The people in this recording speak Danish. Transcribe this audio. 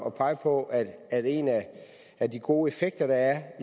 at pege på at at en af de gode effekter der